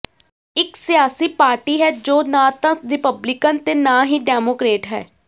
ਇਕ ਸਿਆਸੀ ਪਾਰਟੀ ਹੈ ਜੋ ਨਾ ਤਾਂ ਰਿਪਬਲਿਕਨ ਤੇ ਨਾ ਹੀ ਡੈਮੋਕਰੇਟ ਹੈ